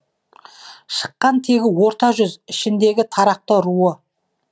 шыққан тегі орта жүз ішіндегі тарақты руы